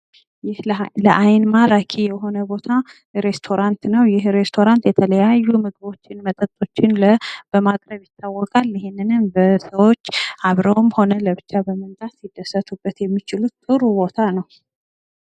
ይህ ለአይን ማራኪ የሆነ ቦታ ሬስቶራት ነው። ይህ ሬስቶራት የተለያዩ ምግቦችን መጠጦችን በማቅረብ ይታወቃል። ይህንንም ሰዎች አብረውም ሆነ ለብቻ በመንጣት ሊደሰቱበት የሚችሉ ጥሩ ቦታ ነው።